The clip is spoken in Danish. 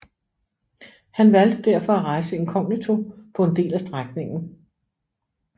Han valgte derfor at rejse inkognito på en del af strækningen